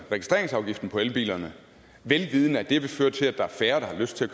registreringsafgiften på elbilerne vel vidende at det vil føre til at der er færre der har lyst til at